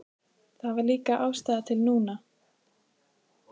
Það var líka ástæða til núna.